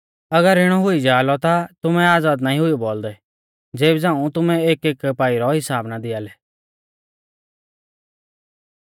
अगर इणौ हुई जा लौ ता तुमै आज़ाद नाईं हुई बौल़दै ज़ेबी झ़ांऊ तुमै एकएक पाई रौ हिसाब ना दिआ लै